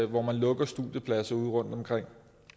hvor man lukker studiepladser udeomkring